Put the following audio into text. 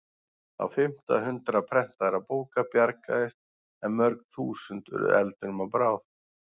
Á fimmta hundrað prentaðra bóka bjargaðist en mörg þúsund urðu eldinum að bráð.